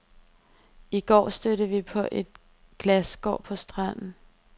I går stødte vi på et glasskår på stranden.